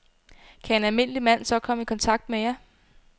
Kan en almindelig mand så komme i kontakt med jer?